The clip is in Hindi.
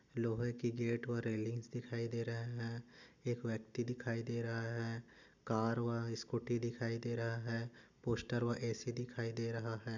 लोहे कि गेट और रेलिंग्स दिखायी दे रहा है एक व्यक्ती दिखाई दे रहा है कार व स्कुटी दिखाई दे रहा है पोस्टर व ए सी दिखाई दे रहा है।